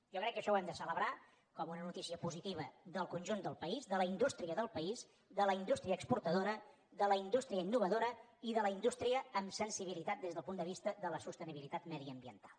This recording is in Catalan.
jo crec que això ho hem de celebrar com una notícia positiva del conjunt del país de la indústria del país de la indústria exportadora de la indústria innovadora i de la indústria amb sensibilitat des del punt de vista de la sostenibilitat mediambiental